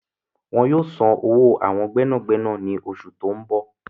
Wọn yóò san owó awọn gbẹ́nàgbẹ́nà ní oṣù tó ń bọ̀